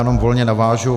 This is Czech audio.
Jenom volně navážu.